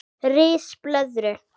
Ris blöðru